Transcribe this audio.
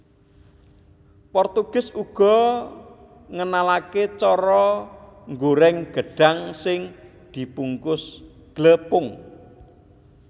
Portugis uga ngenalaké cara nggorèng gedhang sing dibungkus glepung